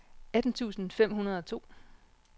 atten tusind fem hundrede og to